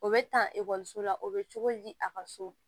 O bɛ ta ekɔliso la o bɛ cogo di a ka so